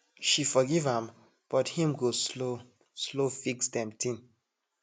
she forgive am but him go slow slow fix dem ting